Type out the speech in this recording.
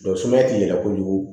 sumaya ti yɛlɛ kojugu